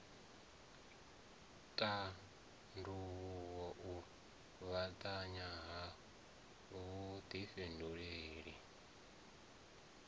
tandavhuwa u fhambanya ha vhudifhinduleli